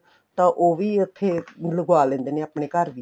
ਤਾਂ ਉਹ ਵੀ ਉੱਥੇ ਲਗਵਾ ਲੈਂਦੇ ਨੇ ਆਪਣੇ ਘਰ ਵੀ